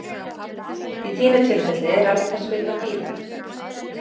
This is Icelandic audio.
Í þínu tilfelli er alveg þess virði að bíða